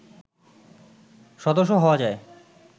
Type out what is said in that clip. সদস্য হওয়া যায়